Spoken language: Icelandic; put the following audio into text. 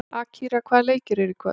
Akira, hvaða leikir eru í kvöld?